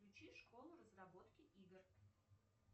включи школу разработки игр